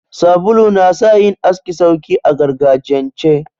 Sabulu na sa yin aski sauki a gargajiyance.